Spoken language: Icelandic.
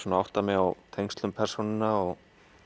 að átta mig á tengslum persónanna